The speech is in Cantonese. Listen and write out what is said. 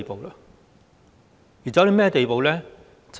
現在是甚麼地步呢？